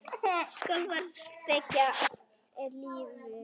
Skaflar þekja allt er lifir.